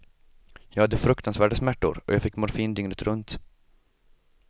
Jag hade fruktansvärda smärtor och jag fick morfin dygnet runt.